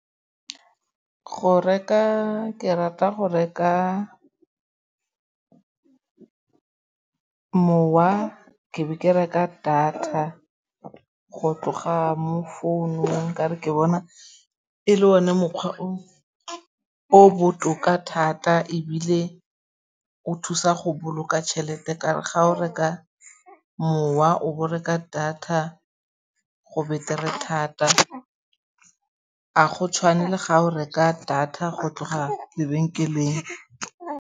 Go reka ke rata go reka mowa ke be ke reka data go tloga mo founung ka 're ke bona e le one mokgwa o o botoka thata ebile o thusa go boloka tšhelete ka 'ore ga o reka mowa o bo reka data go betere thata ga go tshwane le ga o reka data go tloga lebenkeleng.